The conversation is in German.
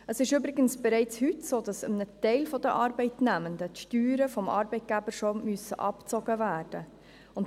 Es ist übrigens bereits heute so, dass einem Teil der Arbeitnehmenden die Steuern bereits vom Arbeitgeber abgezogen werden müssen.